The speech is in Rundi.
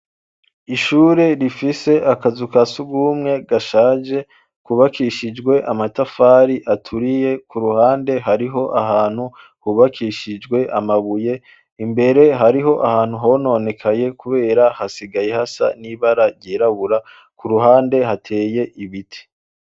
Ishure rifise akazu kasugumwe gashaje kubakishijwe amatafari aturiye, ku ruhande hariho ahantu hubakishijwe amabuye, imbere hariho ahantu hononekaye kubera hasigaye hasa n'ibara ryirabura, ku ruhande hateye ibiti.